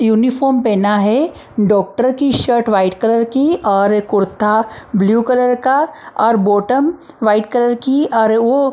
uniform पहना है doctor की शर्ट वाइट कलर की और कुर्ता ब्लू कलर का और बॉटम वाइट कलर की और वो --